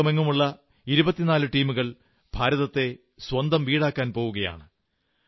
ലോകമെങ്ങുമുള്ള 24 ടീമുകൾ ഭാരതത്തെ സ്വന്തം വീടാക്കാൻ പോകുകയാണ്